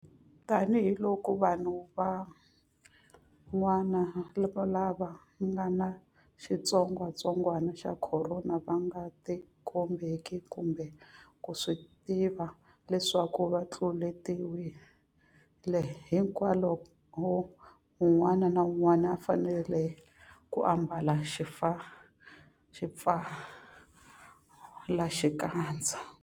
Tanihiloko vanhu van'wana lava nga ni xitsongwantsongwana xa Khorona va nga tikombeki kumbe ku swi tiva leswaku va tluletiwile, hikwalaho un'wana na un'wana u fanele ku ambala xipfalaxikandza.